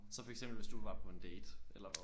Så for eksempel hvis du var på en date eller hvad?